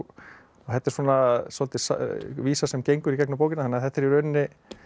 þetta er svolítið vísa sem gengur í gegnum bókina þannig að þetta er í rauninni